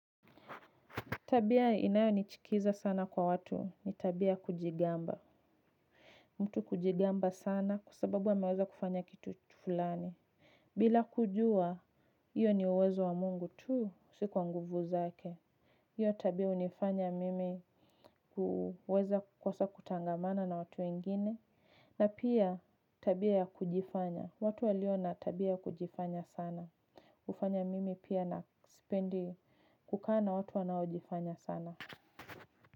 Tabia inayonichukiza sana kwa watu ni tabia ya kujigamba. Mtu kujigamba sana kwa sababu ameweza kufanya kitu fulani. Bila kujua hiyo ni uwezo wa mungu tu si kwa nguvu zake. Hiyo tabia hunifanya mimi huweza kukosa kutangamana na watu wengine. Na pia tabia ya kujifanya. Watu walio na tabia ya kujifanya sana. Hufanya mimi pia na sipendi kukaa na watu wanaojifanya sana.